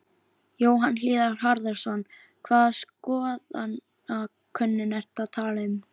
Jóhann Hlíðar Harðarson: Hvaða skoðanakönnun ertu að tala um?